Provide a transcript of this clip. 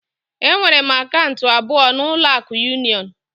Enwere m akaụntụ abụọ na ụlọ akụ union